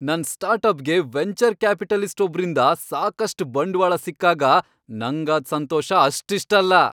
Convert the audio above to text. ನನ್ ಸ್ಟಾರ್ಟ್ಅಪ್ಗೆ venture capitalist ಒಬ್ರಿಂದ ಸಾಕಷ್ಟ್ ಬಂಡ್ವಾಳ ಸಿಕ್ಕಾಗ ನಂಗಾದ್ ಸಂತೋಷ ಅಷ್ಟಿಷ್ಟಲ್ಲ.